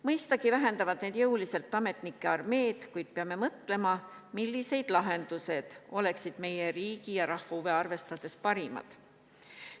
Mõistagi vähendavad need jõuliselt ametnike armeed, kuid peame mõtlema, millised lahendused oleksid meie riigi ja rahva huve arvestades parimad.